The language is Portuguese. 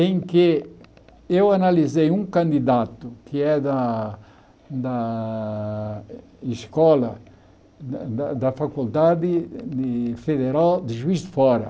em que eu analisei um candidato que é da da escola, da da Faculdade Federal de Juiz de Fora.